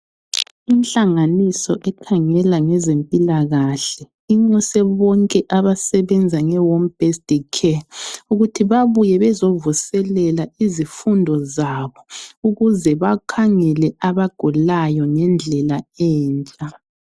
Inhlanganiso ekhangela ngezempilakahle inxuse bonke abasebenza nge home based care, ukuthi babuye bezovuselela izifundo zabo ukuze bakhangele abagulayo ngendlela entsha.